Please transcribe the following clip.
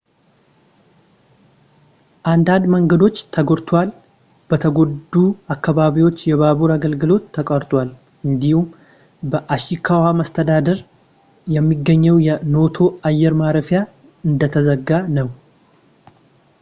አንዳንድ መንገዶች ተጎድተዋል ፣ በተጎዱ አካባቢዎች የባቡር አገልግሎት ተቋርጧል እንዲሁም በኢሺካዋ መስተዳድር የሚገኘው የኖቶ አየር ማረፊያ እንደተዘጋ ነው